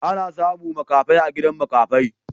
Ana samu makafai a gidan makafai.